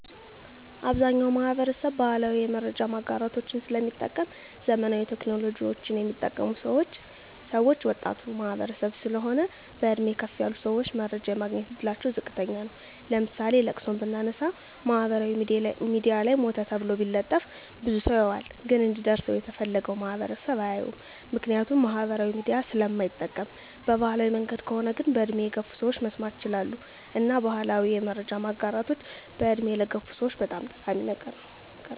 አብዛኛዉ ማህበረሰብ ባህላዊ የመረጃ ማጋራቶችን ስለሚጠቀም ዘመናዊ ቴክኖሎጂወችን ሚጠቀሙት ወጣቱ ማህበረሰብ ስለሆን በእድሜ ከፍ ያሉ ሰወች መረጃ የማግኘት እድላቸዉ ዝቅተኛ ነዉ ለምሳሌ ለቅሶን ብናነሳ ማህበራዊ ሚድያ ላይ ሞተ ተብሎ ቢለጠፍ ብዙ ሰዉ ያየዋል ግን እንዲደርሰዉ የተፈለገዉ ማህበረሰብ አያየዉም ምክንያቱም ማህበራዊ ሚዲያ ስለማይጠቀም በባህላዊ መንገድ ከሆነ ግን በእድሜ ገፋ ያሉ ሰወች መስማት ይችላሉ እና ባህላዊ የመረጃ ማጋራቶች በእድሜ ለገፉ ሰወች በጣም ጠቃሚ ነገር ነዉ